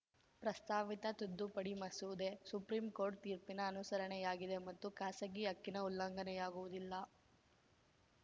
ಪ್ರಸ್ತಾವಿತ ತಿದ್ದುಪಡಿ ಮಸೂದೆ ಸುಪ್ರೀಂಕೋರ್ಟ್‌ ತೀರ್ಪಿನ ಅನುಸರಣೆಯಾಗಿದೆ ಮತ್ತು ಖಾಸಗಿ ಹಕ್ಕಿನ ಉಲ್ಲಂಘನೆಯಾಗುವುದಿಲ್ಲ